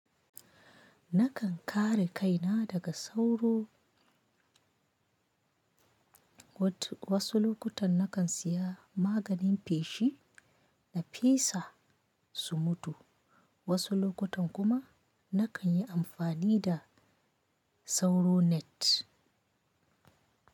Nakan kare kaina daga sauro. Wasu lokutan nakan siya maganin feshi na fesa su mutu. Wasu lokutan kuma nakan yi amfani da sauro net.